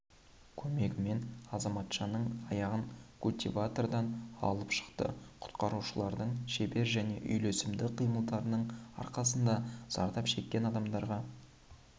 көмегімен азаматшаның аяғын культиватордан алып шықты құтқарушылардың шебер және үйлесімді қимылдарының арқасында зардап шеккен адамға